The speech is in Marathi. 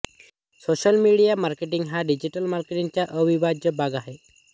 सोशल मीडिया मार्केटिंग हा डिजिटल मार्केटिंग चा अविभाज्य भाग आहे